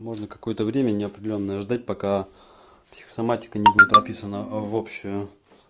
можно какое-то время неопределённое ждать пока психосаматика не будет прописана в общую